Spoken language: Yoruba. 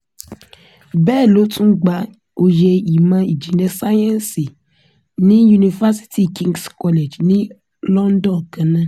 bẹ́ẹ̀ ló tún gba oyè ìmọ̀ ìjìnlẹ̀ sáyẹ́ǹsì ní yunifásitì kings college ní london kan náà